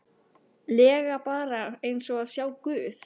lega bara eins og að sjá guð.